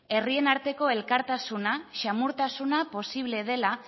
herrien arteko elkartasuna samurtasuna posible dela